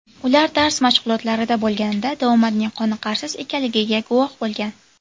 Ular dars mashg‘ulotlarida bo‘lganida davomatning qoniqarsiz ekanligiga guvoh bo‘lgan.